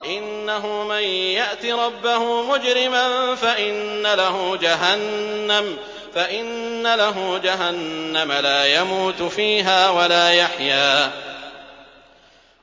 إِنَّهُ مَن يَأْتِ رَبَّهُ مُجْرِمًا فَإِنَّ لَهُ جَهَنَّمَ لَا يَمُوتُ فِيهَا وَلَا يَحْيَىٰ